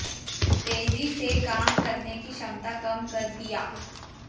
तेजी से काम करने की क्षमता कम कर दिया